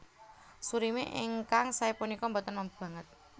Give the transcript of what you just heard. Surimi ingkang saé punika boten mambu sanget